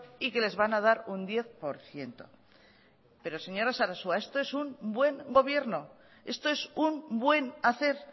y que les van a dar un diez por ciento pero señora sarasua esto es un buen gobierno esto es un buen hacer